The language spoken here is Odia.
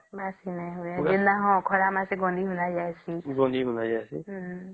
ବାସି ନାଇଁ ହୁଏ ହଁ ଖରା ମାନେ ଗନ୍ଧି ଗୂଂଧା ଯେଇସେ